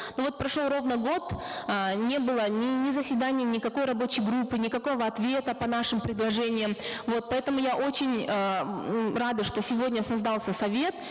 но вот прошел ровно год э не было ни заседаний никакой рабочей группы никакого ответа по нашим предложениям вот поэтому я очень э м рада что сегодня создался совет